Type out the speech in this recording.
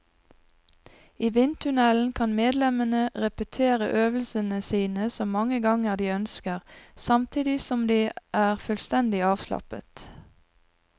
I vindtunnelen kan medlemmene repetere øvelsene sine så mange ganger de ønsker, samtidig som de er fullstendig avslappet.